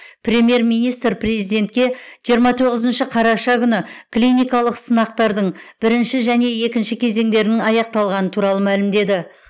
премьер министр президентке жиырма тоғызыншы қараша күні клиникалық сынақтардың бірінші және екінші кезеңдерінің аяқталғаны туралы мәлімдеді